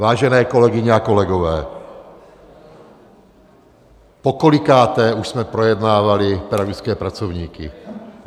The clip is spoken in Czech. Vážené kolegyně a kolegové, pokolikáté už jsme projednávali pedagogické pracovníky?